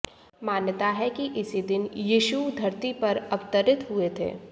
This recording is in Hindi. मान्यता है कि इसी दिन यीशु धरती पर अवतरित हुए थे